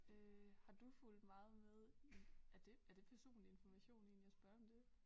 Øh har du fulgt meget med i er det er det personlig information egentlig at spørge om det